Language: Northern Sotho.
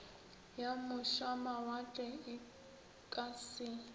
ya mošamawatle e ka se